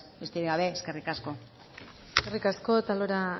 besterik gabe eskerrik asko eskerrik asko otalora